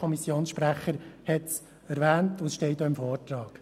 Der Kommissionssprecher hat es erwähnt, und es steht auch im Vortrag.